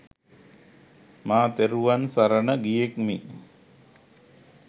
මා තෙරුවන් සරණ ගියෙක්මි